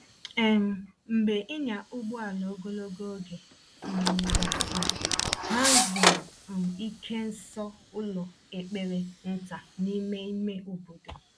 um Mgbe ịnya ụgbọala ogologo oge um gasịrị, ha zuru um ike nso ụlọ ekpere nta n’ime ime obodo.